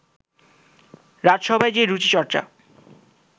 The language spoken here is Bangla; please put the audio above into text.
রাজসভায় যে রুচিচর্চা